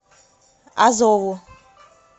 азову